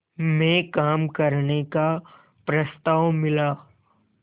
में काम करने का प्रस्ताव मिला